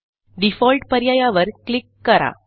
default पर्यायावर click करा